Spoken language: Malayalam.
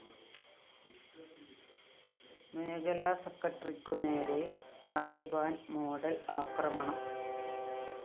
മേഖലാ സെക്രട്ടറിക്കുനേരെ താലിബാന്‍ മോഡൽ ആക്രമണം